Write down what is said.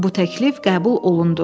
Bu təklif qəbul olundu.